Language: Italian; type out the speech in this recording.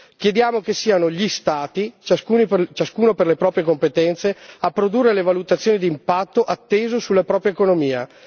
Chiediamo che siano gli Stati, ciascuno per le proprie competenze, a produrre le valutazioni dell'impatto atteso sulla propria economia.